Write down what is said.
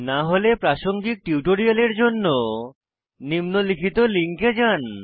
না হলে প্রাসঙ্গিক টিউটোরিয়ালের জন্য নিম্নলিখিত লিঙ্কে যান